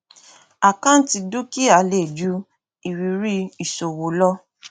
àkáǹtì dúkìá lè ju ìrírí ìṣòwò lọ